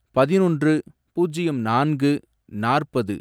பதினொன்று, பூஜ்யம் நான்கு, நாற்பது